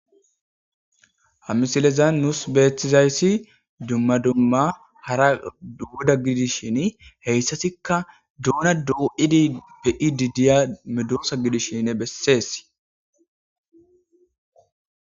Ha misilezan nuus beeththizayssi dumma dumma hara duuda gidishin heyssasikka duuna du7idi bei didiya medoosa gidishine bessees.